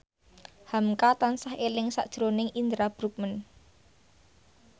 hamka tansah eling sakjroning Indra Bruggman